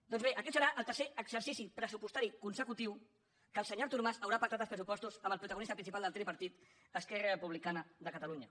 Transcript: doncs bé aquest serà el tercer exercici pressupostari consecutiu que el senyor artur mas haurà pactat els pressupostos amb el protagonista principal del tripartit esquerra republicana de catalunya